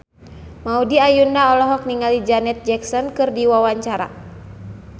Maudy Ayunda olohok ningali Janet Jackson keur diwawancara